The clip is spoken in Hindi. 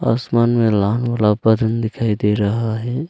आसमान में लाल रंग दिखाई दे रहा है।